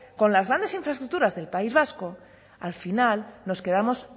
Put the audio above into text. con las grandes infraestructuras del país vasco al final nos quedamos